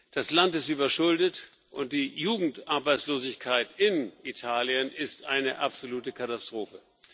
Das Land ist überschuldet, und die Jugendarbeitslosigkeit in Italien ist eine absolute Katastrophe.